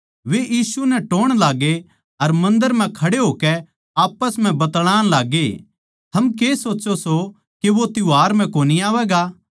वे यीशु नै टोह्ण लाग्गे अर मन्दर म्ह खड़े होकै आप्पस म्ह बतलाण लाग्गे थम के सोच्चो सो के वो त्यौहार म्ह कोनी आवैगा